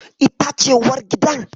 Ita ce uwargidan?